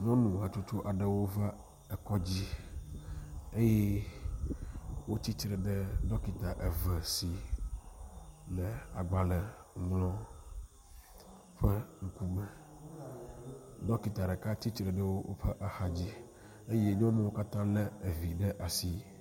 Nyɔnu hatsotso aɖewo va ekɔdzi eye wotsitre ɖe dɔkita eve si le agbale ŋlɔm ƒe ŋkume. Dɔkita ɖeka tsitre ɖe woƒe xadzi eye nyɔnuwo katã le evi ɖe asi.